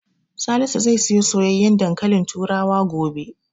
Salisu zai siyo soyayyen dankalin turawa gobe.